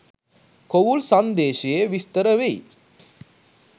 කොවුල් සන්දේශයේ විස්තර වෙයි.